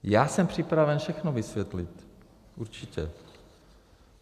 Já jsem připraven všechno vysvětlit. Určitě.